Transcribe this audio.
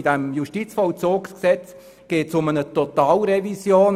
Bei diesem Justizvollzugsgesetz geht es um eine Totalrevision.